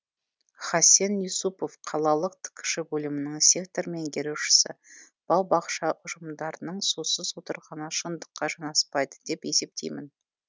хасен юсупов қалалық ткш бөлімінің сектор меңгерушісі бау бақша ұжымдарының сусыз отырғаны шындыққа жанаспайды деп есептеймін